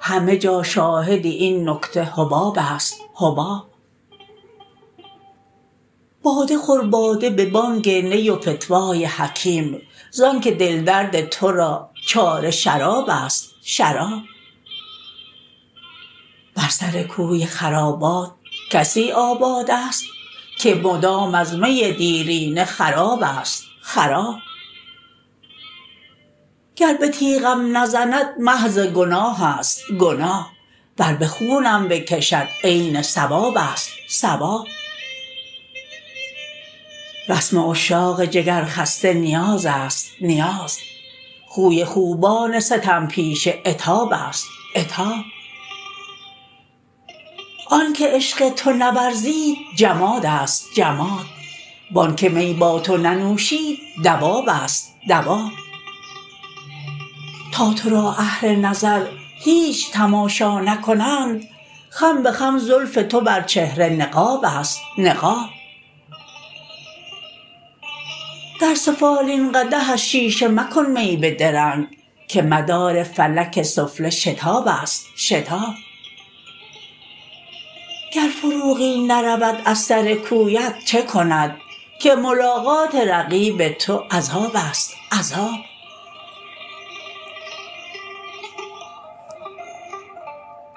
همه جا شاهد این نکته حباب است حباب باده خور باده به بانگ نی و فتوای حکیم زان که دل درد تو را چاره شراب است شراب بر سر کوی خرابات کسی آباد است که مدام از می دیرینه خراب است خراب گر به تیغم نزند محض گناه است گناه ور به خونم بکشد عین ثواب است ثواب رسم عشاق جگر خسته نیاز است نیاز خوی خوبان ستم پیشه عتاب است عتاب آن که عشق تو نورزید جماد است جماد وان که می با تو ننوشید دواب است دواب تا تو را اهل نظر هیچ تماشا نکنند خم به خم زلف تو بر چهره نقاب است نقاب در سفالین قدح از شیشه مکن می به درنگ که مدار فلک سفله شتاب است شتاب گر فروغی نرود از سر کویت چه کند که ملاقات رقیب تو عذاب است عذاب